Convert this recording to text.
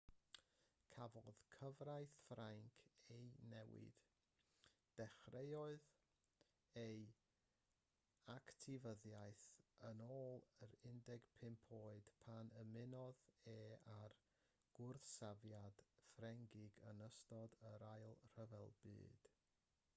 cafodd cyfraith ffrainc ei newid dechreuodd ei actifyddiaeth yn ôl yn 15 oed pan ymunodd e â'r gwrthsafiad ffrengig yn ystod yr ail ryfel byd